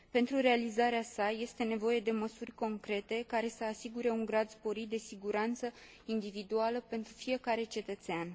Pentru realizarea sa este nevoie de măsuri concrete, care să asigure un grad sporit de siguranță individuală pentru fiecare cetățean.